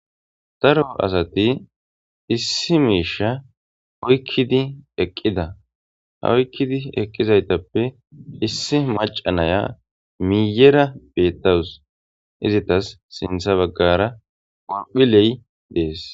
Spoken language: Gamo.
taro asati issi miisha hoykkidi eqqida hawykkidi eqqizaytappe issi maca naya miiyera bettawus izitas sintha baggara golphiley dees